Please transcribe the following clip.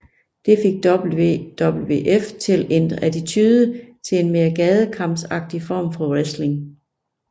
Det fik WWF til at ændre attitude til en mere gadekampsagtig form for wrestling